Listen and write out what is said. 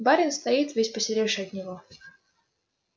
барин стоит весь посеревший от него